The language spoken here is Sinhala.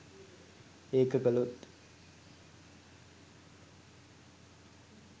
ඒක කළොත්